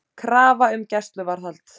Krafa um gæsluvarðhald